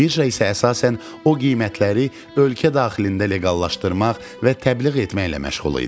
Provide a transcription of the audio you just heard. Birja isə əsasən o qiymətləri ölkə daxilində leqallaşdırmaq və təbliğ etməklə məşğul idi.